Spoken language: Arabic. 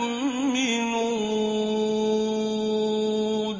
الْمُؤْمِنُونَ